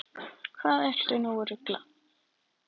Hvað ertu nú að rugla!